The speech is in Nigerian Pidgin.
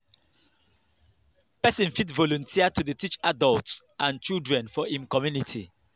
person fit volunteer to dey teach adults and children for im community